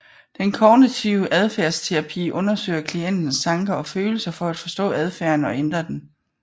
Den kognitive adfærdsterapi undersøger klientens tanker og følelser for at forstå adfærden og ændre den